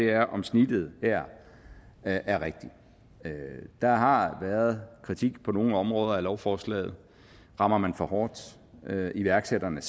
er om snittet her er er rigtigt der har været kritik på nogle områder af lovforslaget rammer man for hårdt iværksætterne